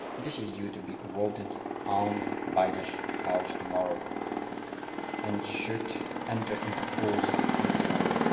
This is due to be voted on by this House tomorrow and should enter into force in December.